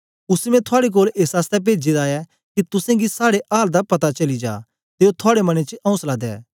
उसी मैं थुआड़े कोल एस आसतै पेजे दा ऐ के तुसेंगी साड़े आल दा पता चली जा ते ओ थुआड़े मनें च औसला दे